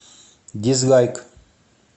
дизлайк